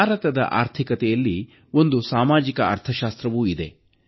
ಭಾರತದ ಆರ್ಥಿಕತೆಯಲ್ಲಿ ಒಂದು ಸಾಮಾಜಿಕ ಅರ್ಥಶಾಸ್ತ್ರವೂ ಇದೆ